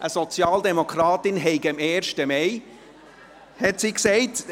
Eine Sozialdemokratin habe am 1. Mai Geburtstag, hat sie gesagt.